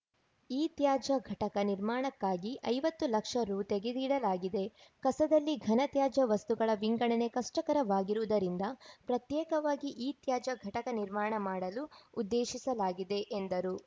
ಇತ್ಯಾಜ್ಯ ಘಟಕ ನಿರ್ಮಾಣಕ್ಕಾಗಿ ಐವತ್ತು ಲಕ್ಷ ರು ತೆಗೆದಿಡಲಾಗಿದೆಕಸದಲ್ಲಿ ಘನ ತ್ಯಾಜ್ಯ ವಸ್ತುಗಳ ವಿಂಗಡಣೆ ಕಷ್ಟಕರವಾಗಿರುವುದರಿಂದ ಪ್ರತ್ಯೇಕವಾಗಿ ಇತ್ಯಾಜ್ಯ ಘಟಕ ನಿರ್ಮಾಣ ಮಾಡಲು ಉದ್ದೇಶಿಸಲಾಗಿದೆ ಎಂದರು